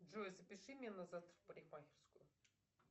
джой запиши меня на завтра в парикмахерскую